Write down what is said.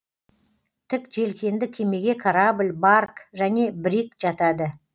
тік желкенді кемеге корабль барк және бриг жатады